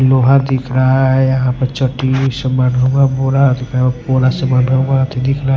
लोहा दिख रहा है यहां पर चट्टी सामान हुआ बोड़ा पोरा समान हुआ दिख रहा है।